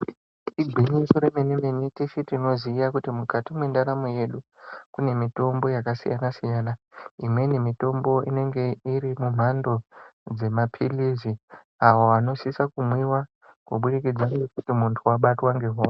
Igwinyiso yemenemene tese tinoziva kuti mukati mwendaramo yedu kune mitombo yakasiyana siyana imweni mitombo inenge iri mumhando yemapirirsi awoo anosisa kumwiwa kubudidzija ngokuti mundu wabatwa ngohosha iri.